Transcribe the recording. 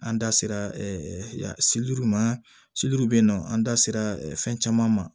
An da sera ma bɛ yen nɔ an da sera fɛn caman ma